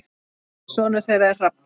Sonur þeirra er Hrafn.